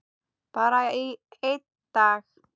Bara í einn dag.